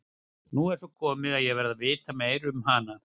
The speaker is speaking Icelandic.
Nú er svo komið að ég verð að vita meira um hana.